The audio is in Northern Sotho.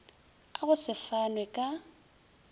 a go se fanwe ka